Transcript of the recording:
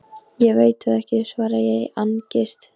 Ég veit það ekki, svara ég í angist.